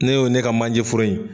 Ne y'o ne ka manje foro in.